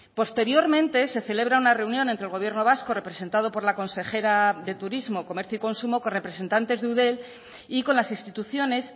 posteriormente se celebra una reunión entre el gobierno vasco representado por la consejera de turismo comercio y consumo con representantes de eudel y con las instituciones